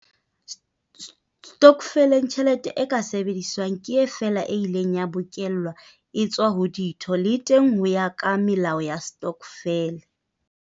Stokfeleng, tjhelete e ka sebediswang ke feela e ileng ya bokellwa e etswa ho ditho, le teng ho ya ka melao ya stokfele.